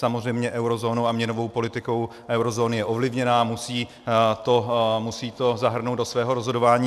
Samozřejmě eurozónou a měnovou politikou eurozóny je ovlivněna, musí to zahrnout do svého rozhodování.